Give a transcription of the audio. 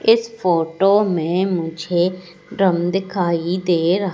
इस फोटो मे मुझे ड्रम दिखाई दे र--